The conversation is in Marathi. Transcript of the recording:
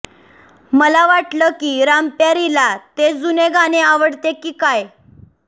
मला वाटलं की रामप्यारीला ते जुने गाणे आवडते की काय